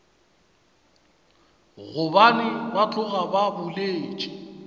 gobane ba tloga ba boletše